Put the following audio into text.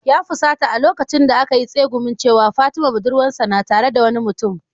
Ya fusata a lokacin da aka yi tsegumin cewa, fatima budurwarsa na tare da wani mutum